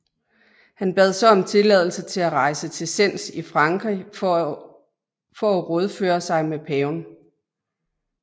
Han bad så om tilladelse til at rejse til Sens i Frankrig for å rådføre sig med paven